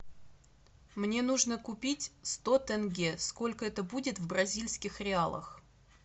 мне нужно купить сто тенге сколько это будет в бразильских реалах